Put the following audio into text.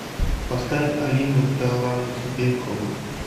поставь алину талантбекову